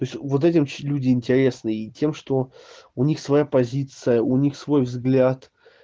то есть вот этим люди интересны и тем что у них своя позиция у них свой взгляд